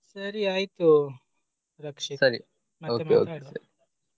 ಸರಿ ಆಯ್ತು .